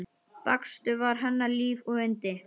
Bakstur var hennar líf og yndi.